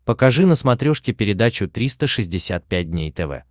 покажи на смотрешке передачу триста шестьдесят пять дней тв